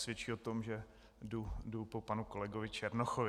Svědčí o tom, že jdu po panu kolegovi Černochovi.